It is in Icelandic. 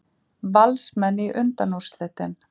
Valsmenn í undanúrslitin